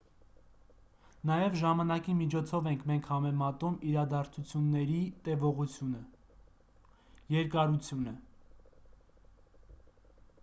նաև ժամանակի միջոցով ենք մենք համեմատում իրադարձությունների տևողությունը երկարությունը: